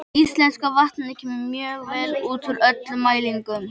Íslenska vatnið kemur mjög vel út úr öllum mælingum.